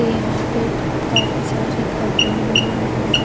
ये यहाँ पे काफी सारे घर बने हुए हैं रोड है --